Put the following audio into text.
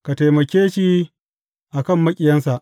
Ka taimake shi a kan maƙiyansa!